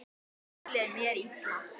Þá leið mér illa.